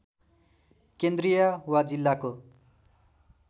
केन्द्रीय या जिल्लाको